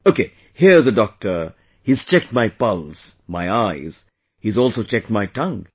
Okay...here's a doctor, he has checked my pulse, my eyes... he has also checked my tongue